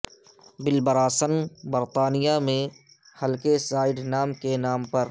بل Bryson برطانیہ میں ہلکے سائیڈ نام کے نام پر